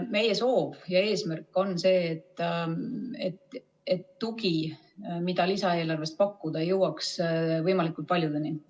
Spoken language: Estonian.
Meie soov ja eesmärk on see, et tugi, mida lisaeelarvest pakkuda, jõuaks võimalikult paljudeni.